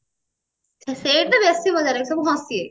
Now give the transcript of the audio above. ସେଇଠି ବେଶି ମଜା ଲାଗେ ସବୁ ହସିବେ